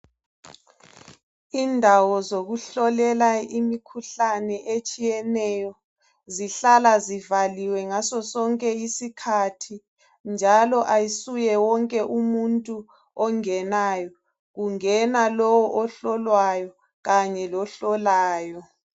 Indawo zokuhlolela imikhuhlane etshiyeneyo zihlala ziwaliwe ngaso sonke isikhathi njalo ayisuye wonke umuntu ongenayo kungena lowo ohlolwayo kanye lohlolayo.